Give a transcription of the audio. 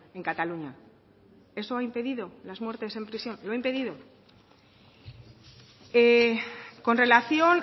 en cataluña eso ha impedido las muertes en prisión lo ha impedido con relación